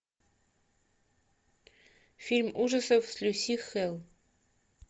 фильм ужасов с люси хейл